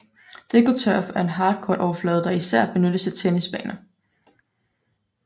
DecoTurf er en hardcourt overflade der især benyttes til tennisbaner